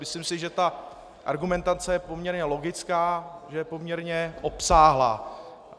Myslím si, že ta argumentace je poměrně logická, že je poměrně obsáhlá.